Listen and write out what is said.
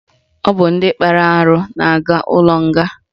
Ọ bụ ndị kpara arụ na-aga ụlọnga